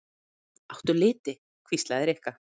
Áttu liti? hvíslaði Rikka.